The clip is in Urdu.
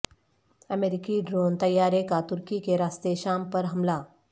امریکی ڈرون طیارے کا ترکی کے راستے شام پر حملہ